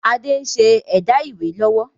Adé ń ṣe ẹ̀dá ìwé lọ́wọ́